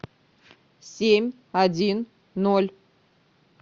семь один ноль